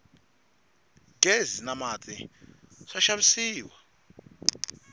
ghezi na mati swa xavisiwa